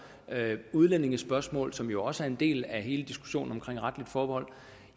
og udlændingespørgsmål som jo også er en del af hele diskussionen om retligt forbehold